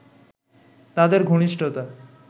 তাদের ঘনিষ্ঠতা